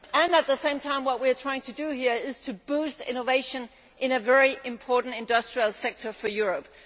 At the same time, what we are trying to do here is to boost innovation in a very important industrial sector for Europe.